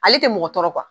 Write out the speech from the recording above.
Ale tɛ mɔgɔ tɔɔrɔ